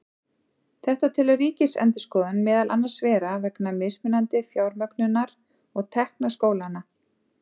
Þetta telur Ríkisendurskoðun meðal annars vera vegna mismunandi fjármögnunar og tekna skólanna.